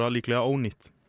líklega ónýtt